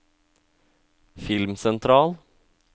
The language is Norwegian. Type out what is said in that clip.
filmsentral